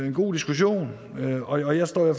en god diskussion og jeg står i